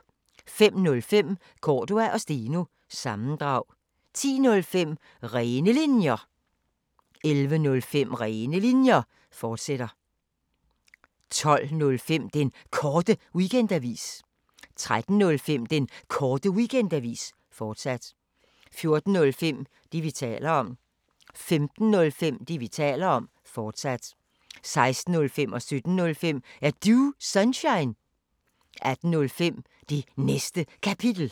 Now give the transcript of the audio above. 05:05: Cordua & Steno – sammendrag 10:05: Rene Linjer 11:05: Rene Linjer, fortsat 12:05: Den Korte Weekendavis 13:05: Den Korte Weekendavis, fortsat 14:05: Det, vi taler om 15:05: Det, vi taler om, fortsat 16:05: Er Du Sunshine? 17:05: Er Du Sunshine? 18:05: Det Næste Kapitel